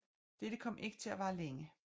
Dette kom ikke til at vare længe